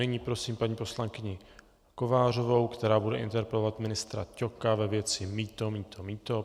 Nyní prosím paní poslankyni Kovářovou, která bude interpelovat ministra Ťoka ve věci mýto, mýto, mýto.